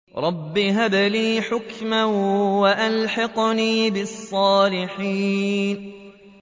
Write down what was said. رَبِّ هَبْ لِي حُكْمًا وَأَلْحِقْنِي بِالصَّالِحِينَ